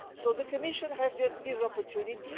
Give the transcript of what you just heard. So the Commission has this opportunity.